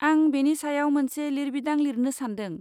आं बेनि सायाव मोनसे लिरबिदां लिरनो सानदों।